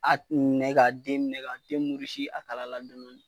A a minɛ ka den minɛ ka den a kala la.